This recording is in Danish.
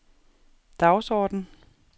dagsorden